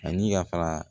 Ani yafara